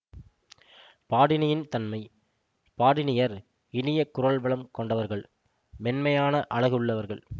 பாடினியின் தன்மை பாடினியர் இனிய குரல்வளம் கொண்டவர்கள் மென்மையான அழகுள்ளவர்கள்